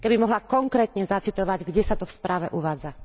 Keby mohla konkrétne zacitovať, kde sa to v správe uvádza.